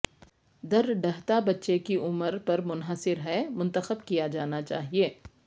درڑھتا کے بچے کی عمر پر منحصر ہے منتخب کیا جانا چاہئے